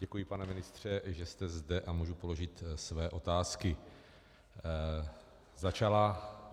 Děkuji, pane ministře, že jste zde, a můžu položit své otázky.